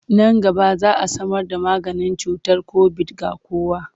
Nan gaba za a samarda maganin cutar kobid ga kowa.